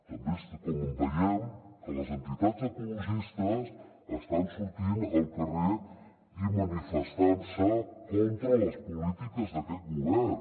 també com veiem que les entitats ecologistes estan sortint al carrer i manifestant se contra les polítiques d’aquest govern